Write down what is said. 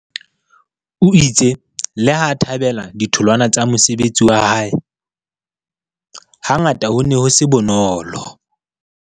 O itse leha a thabela ditholwana tsa mosebetsi wa hae, hangata ho ne ho se bonolo.